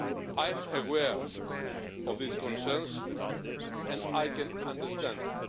I am aware of these concerns, and I can understand them.